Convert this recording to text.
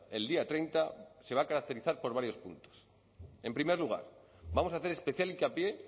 el día treinta se va a caracterizar por varios puntos en primer lugar vamos a hacer especial hincapié